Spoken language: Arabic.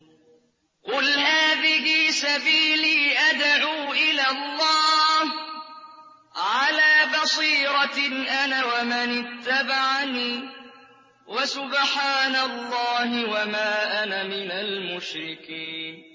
قُلْ هَٰذِهِ سَبِيلِي أَدْعُو إِلَى اللَّهِ ۚ عَلَىٰ بَصِيرَةٍ أَنَا وَمَنِ اتَّبَعَنِي ۖ وَسُبْحَانَ اللَّهِ وَمَا أَنَا مِنَ الْمُشْرِكِينَ